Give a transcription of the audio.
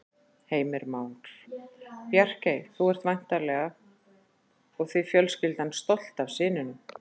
Heimir Már: Bjarkey, þú ert væntanlega og þið fjölskyldan stolt af syninum?